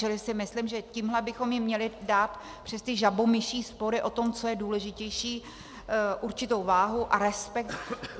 Čili si myslím, že tímhle bychom jim měli dát přes ty žabomyší spory o tom, co je důležitější, určitou váhu a respekt.